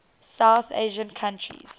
south asian countries